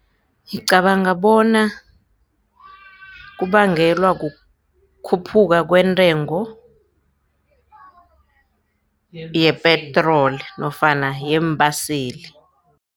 Ngicabanga bona kubangelwa kukhuphuka kwentengo yeptroli nofana yeembaseli.